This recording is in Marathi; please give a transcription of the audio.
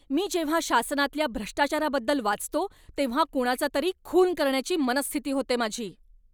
मी जेव्हा शासनातल्या भ्रष्टाचाराबद्दल वाचतो तेव्हा कुणाचा तरी खून करण्याची मनःस्थिती होते माझी.